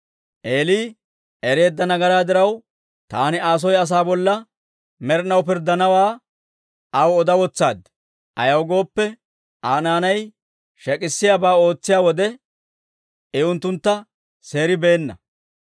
Eeli ereedda nagaraa diraw, taani Aa soy asaa bolla med'inaw pirddanawaa aw oda wotsaad; ayaw gooppe, Aa naanay shek'isiyaabaa ootsiyaa wode, I unttuntta seeribeenna.